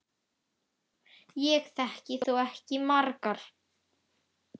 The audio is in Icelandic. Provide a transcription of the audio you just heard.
Ég þekki þó ekki margar.